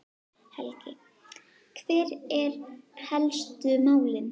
Helgi, hver eru helstu málin?